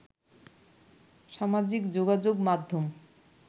সামাজিক যোগাযোগ মাধ্যম